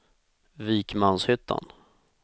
Vikmanshyttan